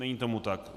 Není tomu tak.